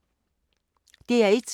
DR1